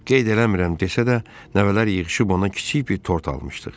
Qeyd eləmirəm desə də, nəvələr yığışıb ona kiçik bir tort almışdıq.